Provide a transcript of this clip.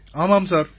ஆமாம் சார்